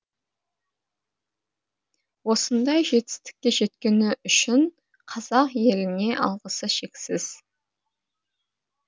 осындай жетістікке жеткені үшін қазақ еліне алғысы шексіз